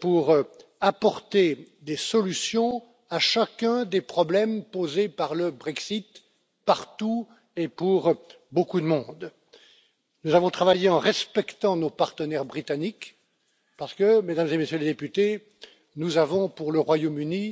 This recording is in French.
pour apporter des solutions à chacun des problèmes posés par le Brexit partout et pour beaucoup de monde. Nous avons travaillé en respectant nos partenaires britanniques parce que, Mesdames et Messieurs les députés, nous avons pour le Royaume